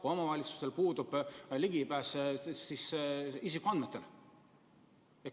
Ja omavalitsustel puudub ligipääs isikuandmetele.